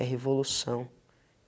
É revolução.